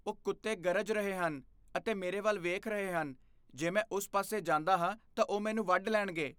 ਉਹ ਕੁੱਤੇ ਗਰਜ ਰਹੇ ਹਨ ਅਤੇ ਮੇਰੇ ਵੱਲ ਵੇਖ ਰਹੇ ਹਨ। ਜੇ ਮੈਂ ਉਸ ਪਾਸੇ ਜਾਂਦਾ ਹਾਂ ਤਾਂ ਉਹ ਮੈਨੂੰ ਵੱਢ ਲੈਣਗੇ।